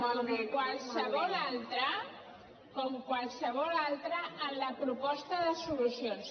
com qualsevol altre com qualsevol altre en la proposta de solucions